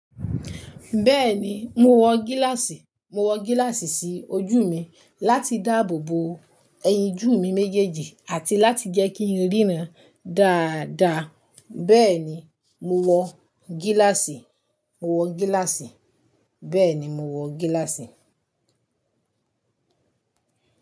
Bẹ́ẹ̀ni, mo wọ gíláàsì, mo wọ gíláàsì sí ojú mi láti dáàbò bo ẹyinjú mi méjèèjì àti láti jẹ́ kí n ríran dáadáa. Bẹ́ẹ̀ni, mo wọ gíláàsì, mo wọ gíláàsì, bẹ́ẹ̀ni mo wọ gíláàsì.